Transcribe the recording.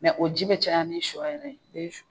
o ji bɛ caya ni shɔ yɛrɛ ye i bɛ